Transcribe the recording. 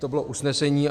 To bylo usnesení.